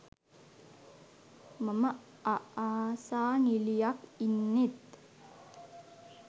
මම අආසා නිලියක් ඉන්නෙත්